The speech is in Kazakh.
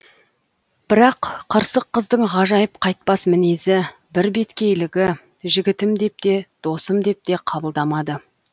бірақ қырсық қыздың ғажайып қайтпас мінезі бірбеткейлігі жігітім деп те досым деп те қабылдамады